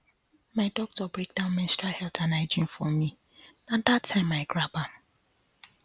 my doctor break down menstrual health and hygiene for me na that time i grab am